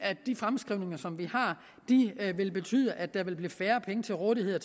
de fremskrivninger som vi har vil betyde at der vil blive færre penge til rådighed